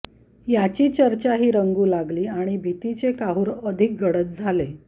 याची चर्चाही रंगू लागली आणि भितीचे काहूर अधिक गडद झाले